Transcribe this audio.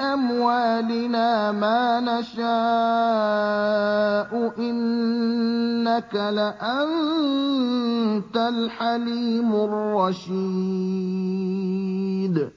أَمْوَالِنَا مَا نَشَاءُ ۖ إِنَّكَ لَأَنتَ الْحَلِيمُ الرَّشِيدُ